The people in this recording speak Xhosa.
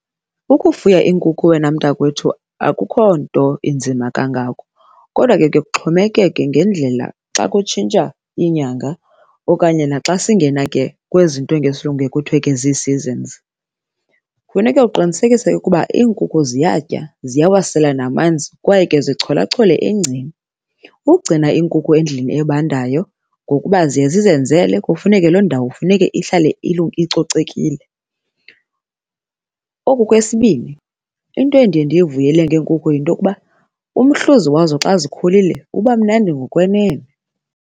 Ukufuya iinkukhu wena mntakwethu akukho nto inzima kangako kodwa ke kuye kuxhomekeke ngendlela, xa kutshintsha iinyanga okanye naxa singena ke kwezi zinto ngesiLungu kuye kuthiwe ke zii-seasons. Kufuneka uqinisekise ukuba inkukhu ziyatya, ziyawasela namanzi kwaye ke zicholachole engceni. Ukugcina iinkukhu endlini ebandayo ngokuba ziye zizenzele, kufuneke loo ndawo kufuneke ihlale icocekile. Oku kwesibini, into endiye ndiyivuyele ngeenkukhu yinto yokuba, umhluzi wazo xa zikhulile uba mnandi ngokwenene.